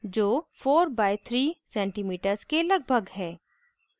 जो 4 by 3 cms के लगभग है